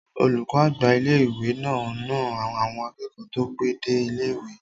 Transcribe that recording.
Olùkọ́ àgbà ilé-ìwé náà na àwọn akẹ́kọ̀ọ́ tó pẹ́ dé ilé-ìwé